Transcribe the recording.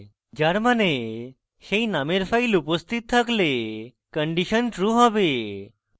যার means সেই নামের file উপস্থিত থাকলে condition true হবে